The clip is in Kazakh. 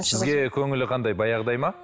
сізге көңілі қандай баяғыдай ма